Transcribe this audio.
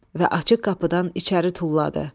Və açıq qapıdan içəri tulladı.